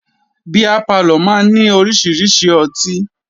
Beer parlour máa ní orísirísi ọtí.